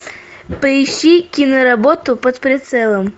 поищи киноработу под прицелом